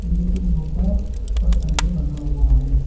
एक पत्थर से बंधा हुआ है।